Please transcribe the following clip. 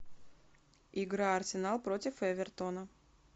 игра арсенал против эвертона